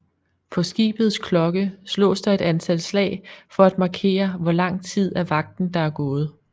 På skibets klokke slås der et antal slag for at markere hvor lang tid af vagten der er gået